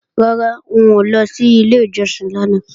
Rárá, n ò lọ sí ilé ìjọsìn lánàá